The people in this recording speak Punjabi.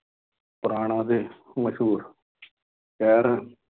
ਪੁਰਾਣਾ ਅਤੇ ਮਸ਼ਹੂਰ ਸ਼ਹਿਰ ਹੈ।